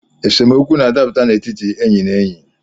Esemokwu na-adaputa n’etiti enyi na enyi